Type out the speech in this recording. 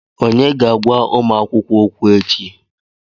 Onye ga-agwa ụmụ akwụkwọ okwu echi?